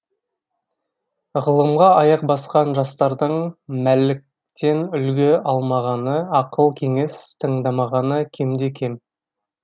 ғылымға аяқ басқан жастардың мәліктен үлгі алмағаны ақыл кеңес тыңдамағаны кемде кем